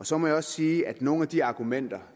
så må jeg også sige at nogle af de argumenter